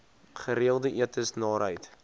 gereelde etes naarheid